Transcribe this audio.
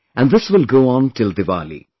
And this will go on till Diwali